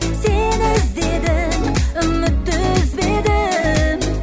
сені іздедім үмітті үзбедім